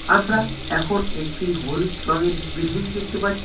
আমরা এখন একটি হলুদ রঙের বিল্ডিং দেখতে পাচ্ছি।